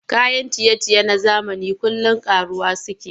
Kayan ciye-ciye na zamani kullum ƙaruwa suke yi.